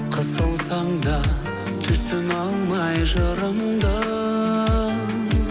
қысылсам да түсіне алмай жырымды